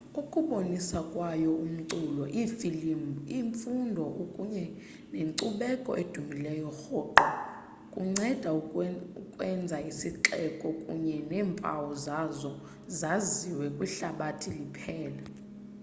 ukubonisa kwayo umculo iifilimu imfundo kunye nenkcubeko edumileyo rhoqo kuncede ukwenza isixeko kunye neempawu zaso zaziwe kwihlabathi liphela